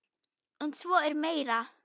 En svo er meira.